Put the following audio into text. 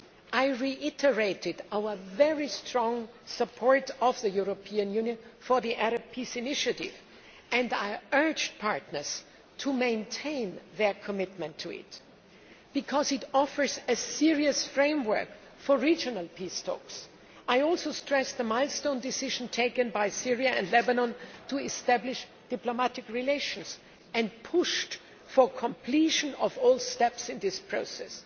I reiterated the very strong support of the European Union for the Arab peace initiative, and I urged partners to maintain their commitment to it, because it offers a serious framework for regional peace talks. I also stressed the milestone decision taken by Syria and Lebanon to establish diplomatic relations, and pushed for completion of all steps in this process.